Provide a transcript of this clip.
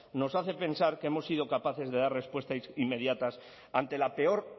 nos hace pensar que hemos sido capaces de dar respuestas inmediatas ante la peor